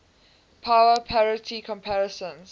power parity comparisons